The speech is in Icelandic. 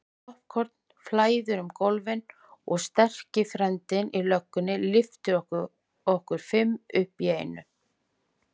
Poppkorn flæðir um gólfin og sterki frændinn í löggunni lyftir okkur fimm upp í einu.